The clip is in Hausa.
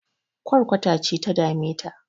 Ƙwarkwata ce ta dame ta